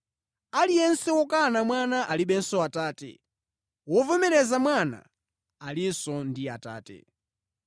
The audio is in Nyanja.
Aliyense wokana Mwana alibenso Atate. Wovomereza Mwana alinso ndi Atate.